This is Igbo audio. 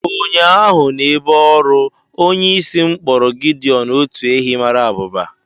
Ụnyahụ n'ebe ọrụ, onyeisi m kpọrọ Gideọn otu ehi mara abụba